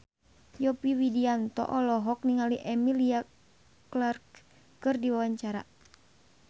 Yovie Widianto olohok ningali Emilia Clarke keur diwawancara